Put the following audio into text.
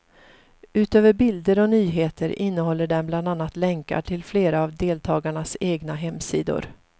Utöver bilder och nyheter innehåller den bland annat länkar till flera av deltagarnas egna hemsidor.